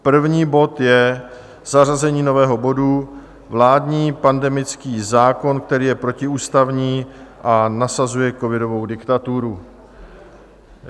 První bod je zařazení nového bodu Vládní pandemický zákon, který je protiústavní a nasazuje covidovou diktaturu.